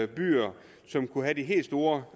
byer som kunne have de helt store